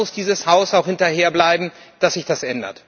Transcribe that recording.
Und da muss dieses Haus auch hinterherbleiben, dass sich das ändert.